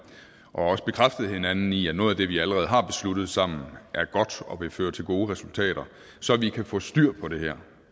også bekræftet hinanden i at noget af det vi allerede har besluttet sammen er godt og vil føre til gode resultater så vi kan få styr på det her